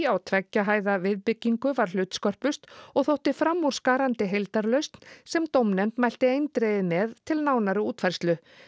á tveggja hæða viðbyggingu varð hlutskörpust og þótti framúrskarandi heildarlausn sem dómnefnd mælti eindregið með til nánari útfærslu